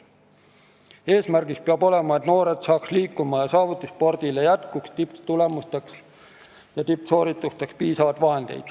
Eesmärk peab olema noored liikuma saada ja et saavutusspordile jätkuks piisavalt vahendeid tipptulemusteks ja tippsooritusteks.